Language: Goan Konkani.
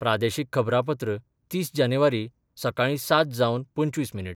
प्रादेशीक खबरांपत्र तीस जानेवारी, सकाळी सात जावन पंचवीस मिनीट